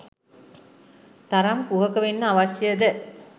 තරම් කුහක වෙන්න අවශ්‍යද?